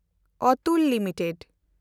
Atul limited